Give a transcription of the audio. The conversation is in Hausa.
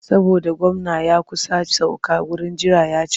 Saboda gwamna ya kusa sauka wurin jira ya cika.